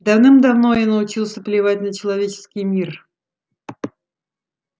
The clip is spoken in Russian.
давным-давно я научился плевать на человеческий мир